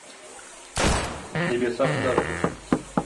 небеса подождут